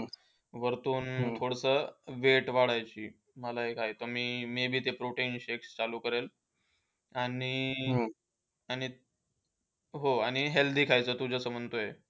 वरतून थोडासा weight वाढवायची. मला एक आहे, की maybe ते protein shakes चालू करेन. आणि आणि आणि हो healthy खायचं तू जसं म्हणतोय.